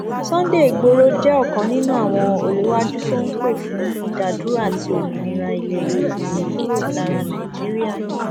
sunday igboro jẹ ọkan nínú àwọn òléwájú tó ń pè fún ìdádúró àti òmìnira ilẹ yorùbá kúrò lára nàìjíríà